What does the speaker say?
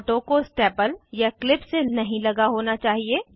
photo को staple या clip से नहीं लगा होना चाहिए